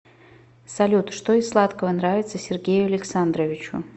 салют что из сладкого нравится сергею александровичу